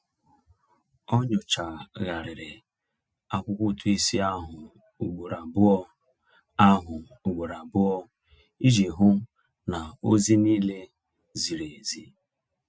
Ọ nyochagharịrị akwụkwọ ụtụisi ahụ ugboro abụọ ahụ ugboro abụọ iji hụ na ozi niile ziri ezi.